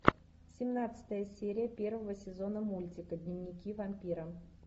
семнадцатая серия первого сезона мультика дневники вампира